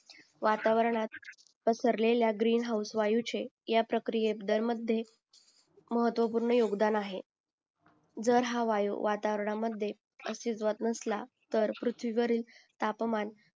वातावरणात पसरलेल्या greenhouse या प्रक्रिये दर मध्ये महत्वपूर्ण योगदान आहे जर हा वायू वातावरणामध्ये अस्तित्वात नसला तर पृथ्वीवरील तापमान